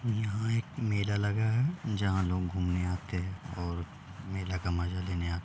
यहाँ एक मेला लगा है जहाँ लोग घूमने आते हैं और मेले का मज़ा लेने आ --